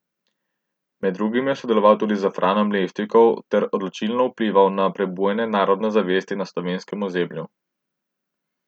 Med drugim je sodeloval tudi s Franom Levstikom ter odločilno vplival na prebujanje narodne zavesti na slovenskem ozemlju.